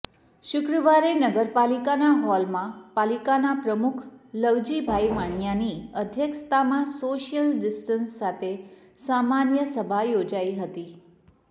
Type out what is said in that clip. શુક્રવારે નગરપાલિકાના હોલમાં પાલિકાના પ્રમુખ લવજીભાઇ વાણીયાની અધ્યક્ષતામાં શોસ્યલ ડીસ્ટન્સ સાથે સામાન્ય સભા યોજાઇ હતી